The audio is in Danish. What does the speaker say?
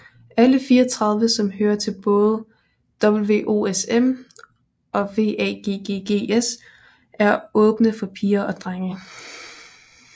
Alle 34 som hører til både WOSM og WAGGGS er åbne for piger og drenge